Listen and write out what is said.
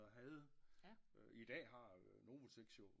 Havde i dag har Novoteks jo